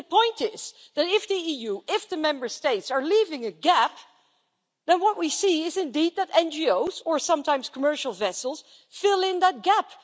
And the point is that if the EU, if the Member States, are leaving a gap, then what we see is indeed that NGOs, or sometimes commercial vessels, fill in that gap.